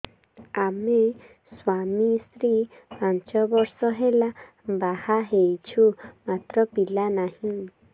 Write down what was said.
ଆମେ ସ୍ୱାମୀ ସ୍ତ୍ରୀ ପାଞ୍ଚ ବର୍ଷ ହେଲା ବାହା ହେଇଛୁ ମାତ୍ର ପିଲା ନାହିଁ